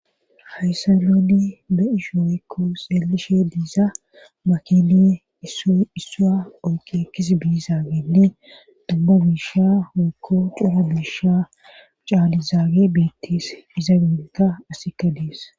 hayssa nuni be ishooykko xeelishe diiza makini assaa oykiekis biizaagenni dumma biisha wekko xuma biisha caalizaage biittis iza gunta asikka dies